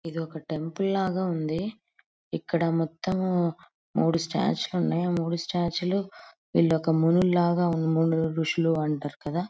ఇది ఒక టెంపుల్ లాగా ఉంది. ఇక్కడ మొత్తం మూడు స్టాట్యూ లున్నాయ్ మూడు స్టాట్యూలు విల్లోక మునుల్లాగ మునులు ఋషులు అంటారు కద.